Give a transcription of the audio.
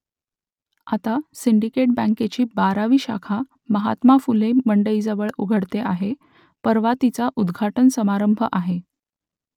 आता सिंडिकेट बँकेची बारावी शाखा महात्मा फुले मंडईजवळ उघडते आहे परवा तिचा उद्घाटन समारंभ आहे